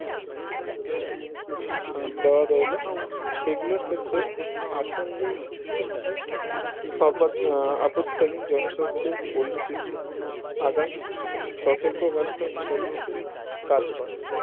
আহ দেওয়া রইলো সেগুলোর ক্ষেত্রে আসন্ন আপাত আহ আপৎকালীন জনস্বাস্থ্যের পরিস্থিতি আগাম সতর্ক বার্তা হিসাবে কাজ করে